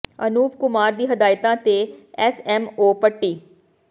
ਅਨੂਪ ਕੁਮਾਰ ਦੀ ਹਦਾਇਤਾਂ ਤੇ ਐਸ ਐਮ ੳ ਪੱਟੀ